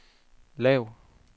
lav